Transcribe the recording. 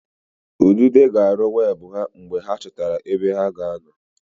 Ududo ga-arụ webụ ha mgbe a chọtara ebe ha ga-anọ